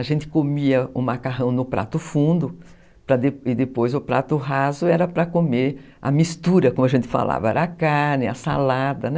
A gente comia o macarrão no prato fundo e depois o prato raso era para comer a mistura, como a gente falava, era a carne, a salada, né?